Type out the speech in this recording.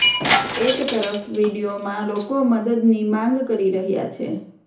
એક તરફ વીડિયોમાં લોકો મદદની માંગ કરી રહ્યા છે